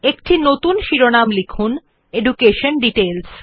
একটি নতুন শিরোনাম লিখুন এডুকেশন ডিটেইলস